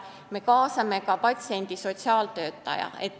Me kaasame ka patsiendi sotsiaaltöötaja.